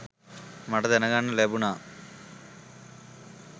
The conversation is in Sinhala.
මට දැන ගන්නට ලැබුණා.